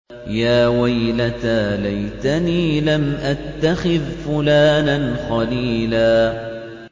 يَا وَيْلَتَىٰ لَيْتَنِي لَمْ أَتَّخِذْ فُلَانًا خَلِيلًا